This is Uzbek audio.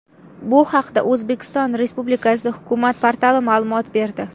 Bu haqda O‘zbekiston Respublikasi hukumat portali ma’lumot berdi .